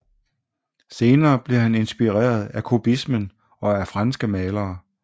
Senere blev han inspireret af kubismen og af franske malere